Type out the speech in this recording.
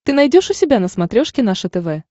ты найдешь у себя на смотрешке наше тв